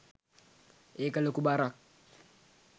ඒක ලොකු බරක්